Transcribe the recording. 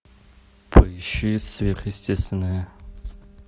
поищи сверхъестественное